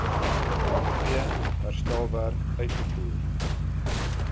geen herstelwerk uitgevoer